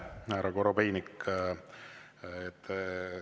Aitäh, härra Korobeinik!